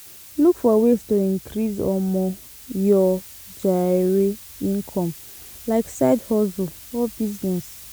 Look for ways to increase um your um income like side hustle or business